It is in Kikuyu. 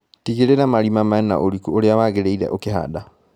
Tigĩrira marima mena ũriku ũria wagĩriire ũkihanda.